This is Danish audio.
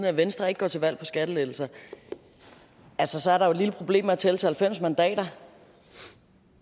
at venstre ikke går til valg på skattelettelser så så er der jo et lille problem med at tælle til halvfems mandater